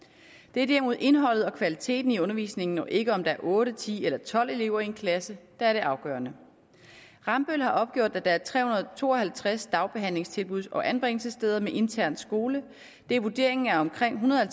det er derimod indholdet og kvaliteten i undervisningen og ikke om der er otte ti eller tolv elever i en klasse der er det afgørende rambøll har opgjort at der er tre hundrede og to og halvtreds dagbehandlingstilbud og anbringelsessteder med intern skole det er vurderingen at omkring en hundrede og